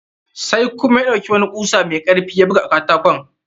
Sai kuma ya ɗauki wani kusa mai karfi ya buga a katakon.